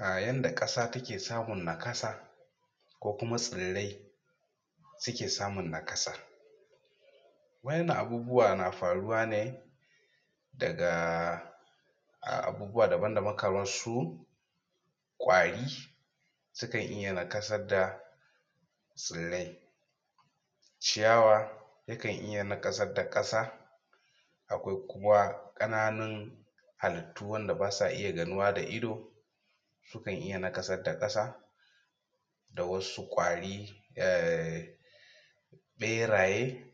um Yanda ƙasa take samun naƙasa, ko kuma tsirrai, suke samun naƙasa. Waɗannan abubuwa na faruwa ne dagaa um abubuwa daban-daban kamar su, ƙwari sukan iya naƙasar da tsirai ciyawa, yakan iya naƙasar da ƙasa, akwainkuma ƙananun hallitu wanda ba su iya ganuwa da ido, sukan iya naƙasar da ƙasa da wasu ƙwari um ɓeraye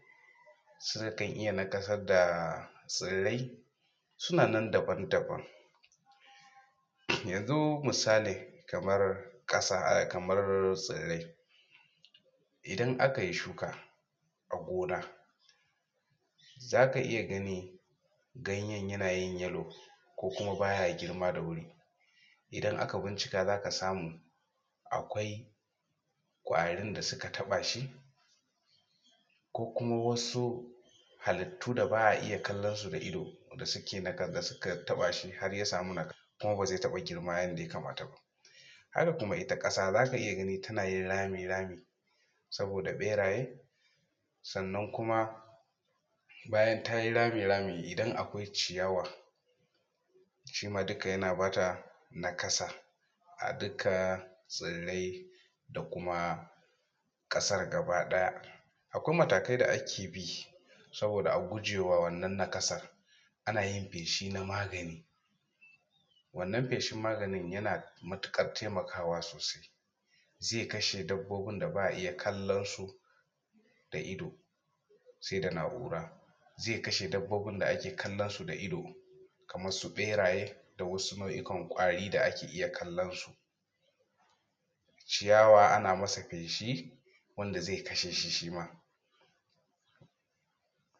sukan iya naƙasar daa tsirai suna nan daban-daban. Yanzu misali kamar kasa um kamar tsirai idan aka yi shuka a gona, za ka iya gani ganyen yana yin yellow ko kuma ba ya girma da wuri, idan aka bincika zaka samu akwai ƙwari da suka taba shi ko kuma wasu halittu da ba a iya kallonsu da ido da suka naka da suke taba shi har ya samu naƙa kuma ba zai taɓa girma yadda ya kamata ba. Haka ita ma ƙasa ka za iya ganin tana yin rami rami saboda ɓeraye sanna kuma bayan ta yi rami rami idan akwai ciyawa shi ma duka yana ba ta naƙasar a dukkan tsirai da kuma ƙasar gaba ɗaya akwai matakai da ake bi saboda a guje wa wannan naƙasar. Ana yin feshi na magani, wannan feshin maganin ya na matukar taimaka sosai, ze kashe dabbobin da ba a iya kallonsu da ido sai da naura, zai kashe dabbobin da ake iya kallonsu da ido kamar su ɓeraye da wasu nau'ikan ƙwari da ake iya kallonsu. Ciyawa ana masa feshi wanda zai kashe shi shi ma.